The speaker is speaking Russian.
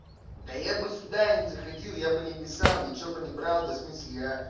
да я бы сюда не заходил я бы не писал ничего бы не брал бы в смысле я